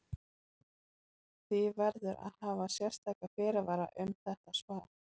Því verður að hafa sérstaka fyrirvara um þetta svar.